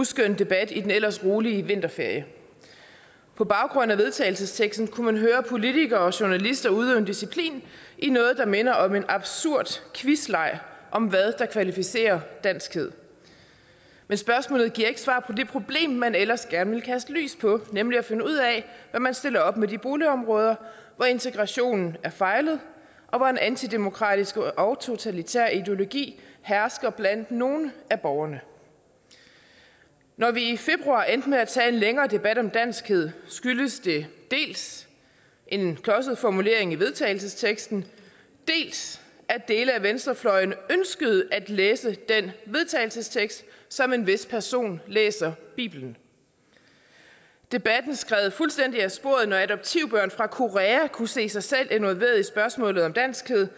uskøn debat i den ellers rolige vinterferie på baggrund af vedtagelsesteksten kunne man høre politikere og journalister udøve en disciplin i noget der minder om en absurd quizleg om hvad der kvalificerer danskhed men spørgsmålet giver ikke svar på det problem man ellers gerne vil kaste lys på nemlig at finde ud af hvad man stiller op med de boligområder hvor integrationen har fejlet og hvor en antidemokratisk og totalitær ideologi hersker blandt nogle af borgerne når vi i februar endte med at tage en længere debat om danskhed skyldes det dels en klodset formulering i vedtagelsesteksten dels at dele af venstrefløjen ønskede at læse den vedtagelsestekst som en vis person læser bibelen debatten skred fuldstændig af sporet når adoptivbørn fra korea kunne se sig selv involveret i spørgsmålet om danskhed